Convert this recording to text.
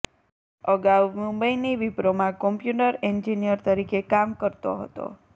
અગાઉ મુંબઈની વિપ્રોમાં કોમ્પ્યુટર એન્જીનિયર તરીકે કામ કરતો હતો